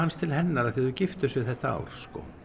til hennar því þau giftu sig þetta ár